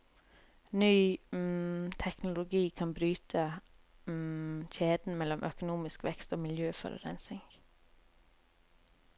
Ny teknologi kan bryte kjeden mellom økonomisk vekst og miljøforurensning.